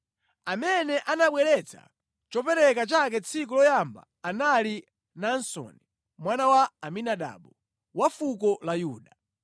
Amene anabweretsa chopereka chake tsiku loyamba anali Naasoni mwana wa Aminadabu wa fuko la Yuda.